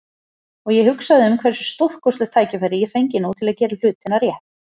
Og ég hugsaði um hversu stórkostlegt tækifæri ég fengi nú til að gera hlutina rétt.